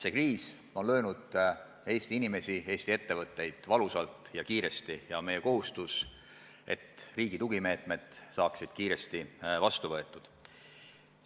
See kriis on löönud Eesti inimesi, Eesti ettevõtteid valusalt ja kiiresti ja meie kohustus on, et riigi tugimeetmed saaksid kiiresti vastu võetud.